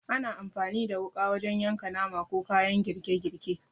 Ana amfani da wuƙa wajen yanka nama, ko kayan girke girke.